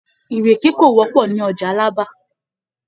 Ìrèké kò wọ́pọ̀ ní ọjà Alábà